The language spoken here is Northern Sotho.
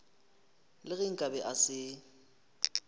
le ge nkabe a se